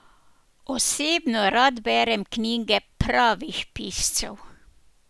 Osebno rad berem knjige pravih piscev.